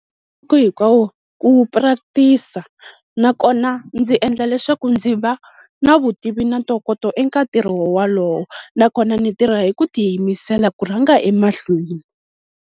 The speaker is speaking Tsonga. ku practice-a nakona ndzi endla leswaku ndzi va na vutivi na ntokoto eka ntirho wowalowo, nakona ni tirha hi ku tiyimisela ku rhanga emahlweni.